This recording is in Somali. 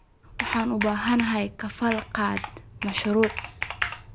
Waxaan u baahanahay kafaala-qaade mashruuc.